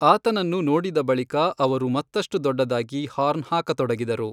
ಆತನನ್ನು ನೋಡಿದ ಬಳಿಕ ಅವರು ಮತ್ತಷ್ಟು ದೊಡ್ಡದಾಗಿ ಹಾರ್ನ್ ಹಾಕತೊಡಗಿದರು.